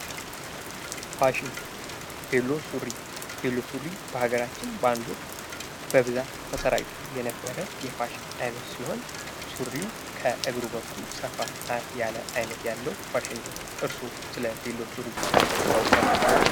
ፋሽን ዜሎ ሱሪ ቬሎ ሱሪ በሃገራችን በአንድ ወቅት በስፋት ተሰራጭቶ የነበረ የፋሽን አይነት ሲሆን፤ ሱሪው ከእግሩ በኩል ሰፋ ያለ አይነት ያለው ፋሺን ነው። እርሶ ስለ ቬሎ ሱሪ ሰምተው ያውቃሉ?